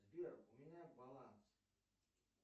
сбер у меня баланс